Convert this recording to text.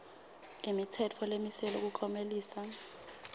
imitsetfo lemiselwe kuklomelisa